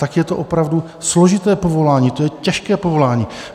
Tak je to opravdu složité povolání, to je těžké povolání.